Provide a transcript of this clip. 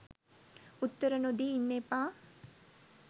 උත්තර නොදී ඉන්න එපා.